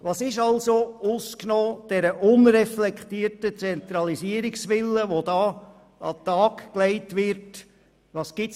Welche Argumente, ausgenommen den an den Tag gelegten, unreflektierten Zentralisierungswillen, gibt es?